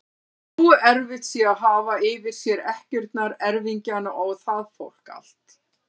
Nógu erfitt sé að hafa yfir sér ekkjurnar, erfingjana og það fólk allt!